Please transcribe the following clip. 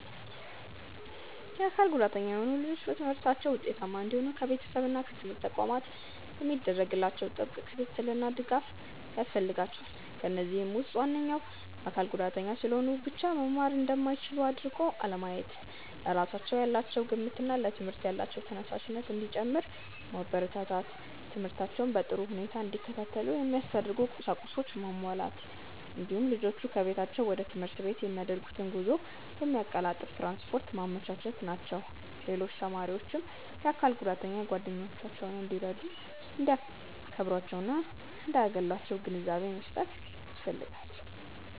የአካል ጉዳተኛ የሆኑ ልጆች በትምህርታቸው ውጤታማ እንዲሆኑ ከቤተሰብ እና ከትምህርት ተቋማት የሚደረግላቸው ጥብቅ ክትትልና ድጋፍ ያስፈልጋቸዋል። ከነዚህም ውስጥ ዋነኞቹ:- አካል ጉዳተኛ ስለሆኑ ብቻ መማር እንደማይችሉ አድርጎ አለማየት፣ ለራሳቸው ያላቸው ግምትና ለትምህርት ያላቸው ተነሳሽነት እንዲጨምር ማበረታታት፣ ትምህርታቸውን በጥሩ ሁኔታ እንዲከታተሉ የሚያስፈልጉ ቁሳቁሶችን ማሟላት፣ እንዲሁም ልጆቹ ከቤታቸው ወደ ትምህርት ቤት የሚያደርጉትን ጉዞ የሚያቀላጥፍ ትራንስፖርት ማመቻቸት ናቸው። ሌሎች ተማሪዎችም የአካል ጉዳተኛ ጓደኞቻቸውን እንዲረዱ፣ እንዲያከብሯቸውና እንዳያገሏቸው ግንዛቤ መስጠት ያስፈልጋል።